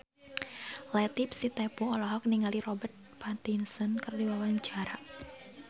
Latief Sitepu olohok ningali Robert Pattinson keur diwawancara